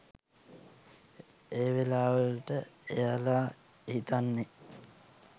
ඒ වෙලාවලට එයාල හිතන්නෙ